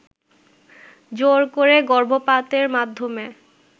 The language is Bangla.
জোর করে গর্ভপাতের মাধ্যমে